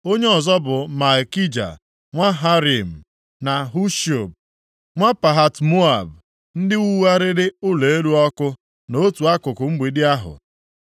Onye ọzọ bụ Malkija nwa Harim, na Hashub nwa Pahat-Moab, ndị wugharịrị ụlọ elu ọkụ, na otu akụkụ mgbidi ahụ.